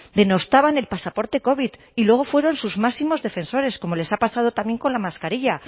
denostaban el pasaporte covid y luego fueron sus máximos defensores como les ha pasado también con la mascarilla